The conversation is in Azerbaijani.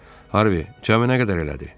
"Harvi, cəmi nə qədər elədi?"